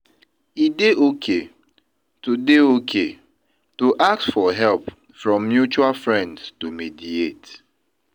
E dey okay to dey okay to ask for help from mutual friends to mediate.